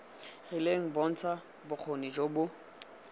rileng bontsha bokgoni jo bo